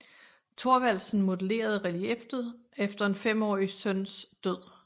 Thorvaldsen modellerede relieffet efter en femårig søns død